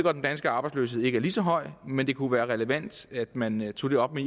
at den danske arbejdsløshed ikke er lige så høj men det kunne være relevant at man tog det op med